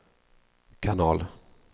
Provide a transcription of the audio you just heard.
kanal